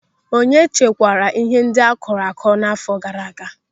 Onye chekwara ihe ndị akụrụ akụ n'áfọ gaara aga?